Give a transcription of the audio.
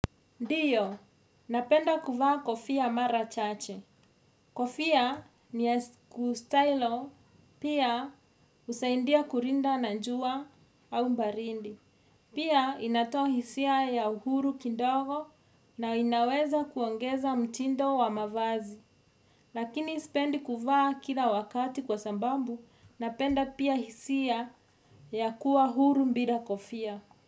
Ndiyo, napenda kuvaa kofia mara chache. Kofia ni ya kustylo, pia husaidia kulinda na jua au baridi. Pia inatoa hisia ya uhuru kidogo na inaweza kuongeza mtindo wa mavazi. Lakini sipendi kuvaa kila wakati kwa sababu, napenda pia hisia ya kuwa huru bila kofia.